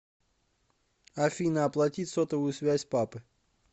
афина оплатить сотовую связь папы